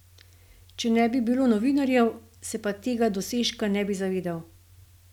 Če ne bi bilo novinarjev, se pa tega dosežka ne bi zavedal.